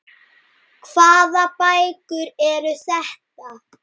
Hvaða bækur eru þetta?